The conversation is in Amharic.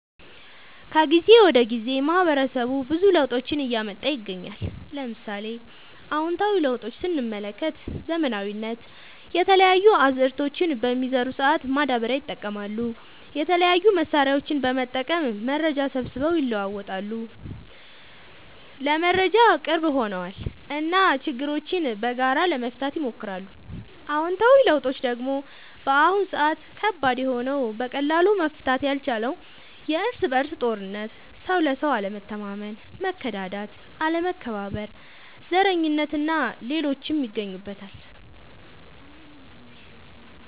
ከጊዜ ወደ ጊዜ ማህበረሰቡ ብዙ ለውጦችን እያመጣ ይገኛል። ለምሳሌ፦ አዎንታዊ ለውጦች ስንመለከት ዘመናዊነት፣ የተለያዩ አዝዕርቶችን በሚዘሩ ሰአት ማዳበሪያ ይጠቀማሉ፣ የተለያዩ መሳሪያዎችን በመጠቀም መረጃ ሰብስበው ይለዋወጣሉ (ለመረጃ ቅርብ ሆነዋል ) እና ችግሮችን በጋራ ለመፍታት ይሞክራሉ። አሉታዊ ለውጦች ደግሞ በአሁን ሰአት ከባድ የሆነው በቀላሉ መፈታት ያልቻለው የርስ በርስ ጦርነት፣ ሰው ለሰው አለመተማመን፣ መከዳዳት፣ አለመከባበር፣ ዘረኝነት እና ሌሎችም ይገኙበታል።